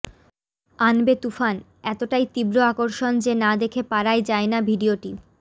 আনবে তুফান এতটাই তীব্র আকর্ষণ যে না দেখে পারায় যায়না ভিডিওটি